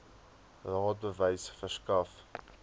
raad bewys verskaf